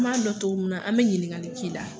N b'a dɔn cogo min na, an be ɲininkali k'i la.